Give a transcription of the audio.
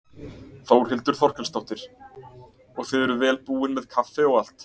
Þórhildur Þorkelsdóttir: Og þið eruð vel búin með kaffi og allt?